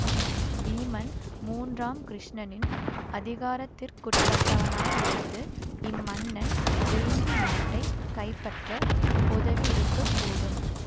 வீமன் மூன்றாம் கிருஷ்ணனின் அதிகாரத்திற்குட்பட்டவனாயிருந்து இம்மன்னன் வேங்கி நாட்டை கைப்பற்ற உதவியிருக்கக்கூடும்